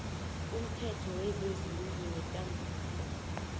umthetho wezezindlu nekambiso